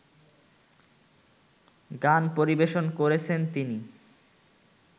গান পরিবেশন করেছেন তিনি